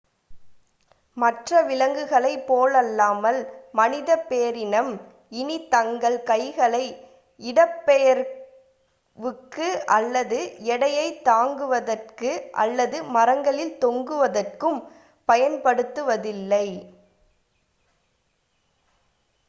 மற்ற விலங்கினங்களைப் போலல்லாமல் மனிதப் பேரினம் இனி தங்கள் கைகளை இடப்பெயர்வுக்கு அல்லது எடையைத் தாங்குவதற்கு அல்லது மரங்களில் தொங்குவதற்கும் பயன்படுத்துவதில்லை